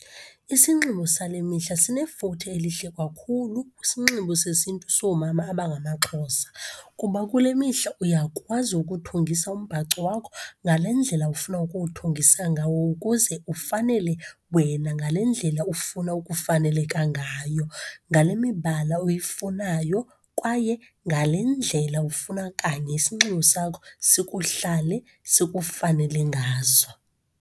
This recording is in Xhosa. Isinxibo sale mihla sinefuthe elihle kakhulu kwisinxibo sesiNtu soomama abangamaXhosa, kuba kule mihla uyakwazi ukuthungisa umbhaco wakho ngale ndlela ufuna ukuwuthungisa ngawo, ukuze ufanele wena ngale ndlela ufuna ukufaneleka ngayo, ngale mibala uyifunayo, kwaye ngale ndlela ufuna kanye isinxibo sakho sikuhlale sikufanele ngaso.